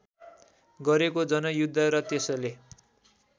गरेको जनयुद्ध र त्यसले